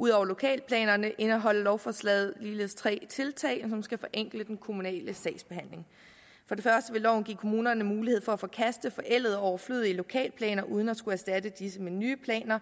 ud over lokalplanerne indeholder lovforslaget ligeledes tre tiltag som skal forenkle den kommunale sagsbehandling for det første vil loven give kommunerne mulighed for at forkaste forældede og overflødige lokalplaner uden at skulle erstatte disse med nye planer